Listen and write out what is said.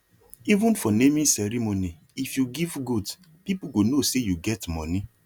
even for naming ceremony if you give goat people go know say you get money